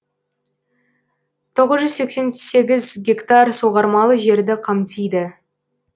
тоғыз жүз сексен сегіз гектар суғармалы жерді қамтиды